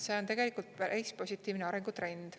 See on tegelikult päris positiivne arengutrend.